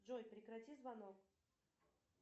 джой прекрати звонок